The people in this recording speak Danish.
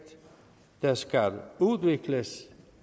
der skal udvikles